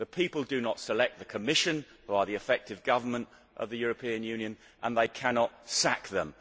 The people do not select the Commission, who are the effective government of the European Union, and they cannot sack them.